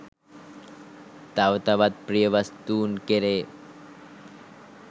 තව තවත් ප්‍රිය වස්තූන් කෙරේ